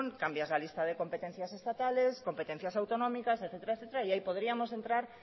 cambias la lista de competencias estatales competencias autonómicas etcétera etcétera y ahí podríamos entrar